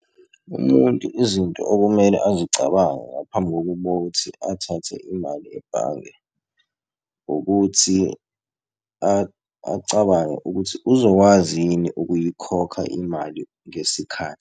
Umuntu izinto okumele azicabange ngaphambi kokuba kokuthi athathe imali ebhange ukuthi acabange ukuthi uzokwazi yini ukuyikhokha imali ngesikhathi.